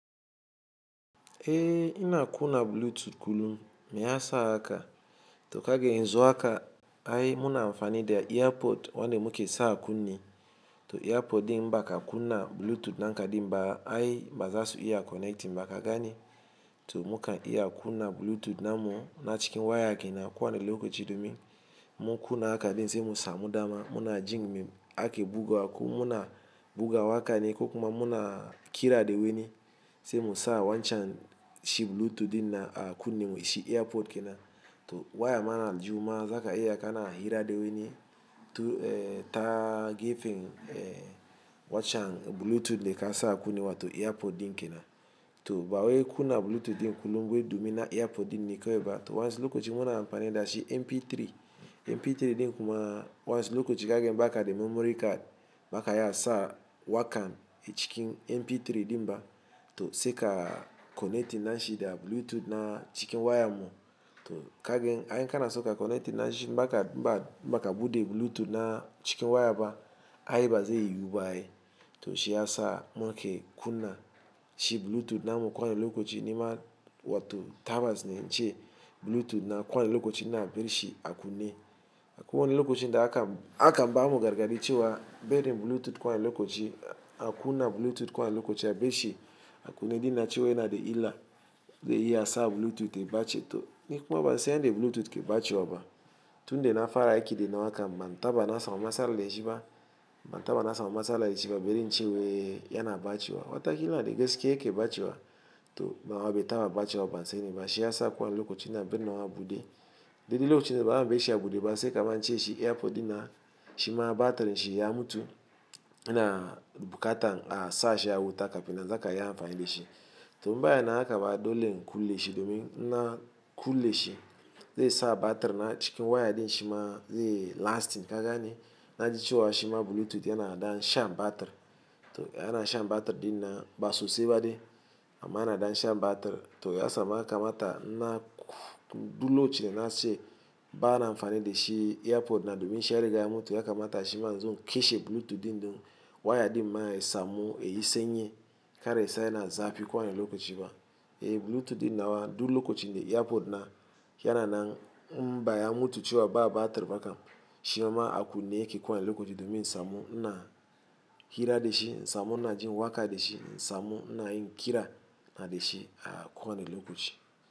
Eh ina kuna bluetooth kullum me ya sa haka to kage yan zu haka ai muna amfani da earpod wanda muke sa kunne to earpod din ba ka kuna bluetooth dinka din ba ai baza su iya connecting ba ka gane to muka iya kuna bluetooth namu na cikin waya kenan ko wani lokaci domin mu kuna haka din sai mu samu dama muna jingim ake bugawa ku muna bugawa kane ko kuma muna kira da weni sai mu sa wancan shi bluetooth din na a kunne mu shi earpod kenan to waya mana jima zaka iya kana hira da weni to eh ta gefen eh wancan bluetooth da ka sa kunne wa to earpod din kenan to ba waiku na bluetooth din kullum bai domi na earpod din nekawaiba to wasu lokaci muna amfani da shi mp3 mp3 din kuma wasu lokaci kage baka da memory card baka iya sa wakan a cikin mp3 din ba to sai ka connecting nashi da bluetooth na cikin waya mu to kagen ai kana soka connecting nashi maka ba maka bude bluetooth na cikin waya ba ai baza yi yiwu ba ai to shi ya sa muke kuna shi bluetooth namu ko wani lokaci nima watu tawas ne ce bluetooth na ko wani lokaci na bari shi a kunne a ko wani lokaci da aka a kan ba mu gargaɗi cewa bari bluetooth ko wani lokaci a kuna bluetooth ko wani lokaci a bar shi a kunne din na cewa yana da illa ze iya sa bluetooth ya ɓaci to nikuma ba san yanda bluetooth ke ɓacewa ba tun da na fara aiki da na wa kaman taba na samu matsala da shi ba ma taba na samu matsala da shi ba bari in ce wai yana bacewa watakila yana da gaske yake bacewa to nawa bai taba bacewa ban sani ba shi ya sa ko wani lokaci na barin nawa bude daidai lokacin da ba mu bar shi a bude ba sai kaman ciye shi earpod din na shima batirin shi ya mutu yana bukatan a sa shi a wuta kafina zaka iya amfani da shi to inba ya na haka ba dole in kulle shi domin na kulle shi zai sa batir na cikin waya din shima zai lasting ka gani na ji cewa shima bluetooth yana da shan batir to yana shan batir din na ba sosai ba dai amma yana da shan batir to ya sa muka mata na dulo cewa na ce ba na amfani da shi earpod na domin shi yariga ya mutu ya kamata shi manzo kashe bluetooth din dun waya din ma ya samu ya yi sanyi kar ya sa yana zafi ko wani lokaci ba eh bluetooth din nawa duk lokacin da earpod na yana nan inbaya mutu cewa ba batir baka shi ma aku ne yake ko wani lokaci domin samu na hira da shi insamu na jin waka da shi insamu ina yin kira na da shi a ko wani lokaci.